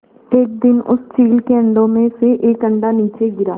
एक दिन उस चील के अंडों में से एक अंडा नीचे गिरा